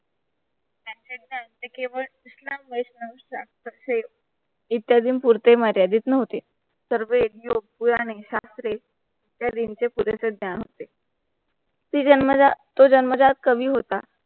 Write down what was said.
त्यांचे इत्यादींपुरतं मर्यादित नव्हते सर्वे योगपुराणे शास्त्रे ह्या विषयी ज्ञान होते दिसणं होते. ती जन्मजात तो जन्मजात कवी होता.